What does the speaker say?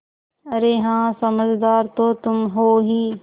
अरे हाँ समझदार तो तुम हो ही